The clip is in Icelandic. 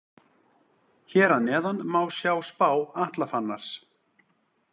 Hér að neðan má sjá spá Atla Fannars.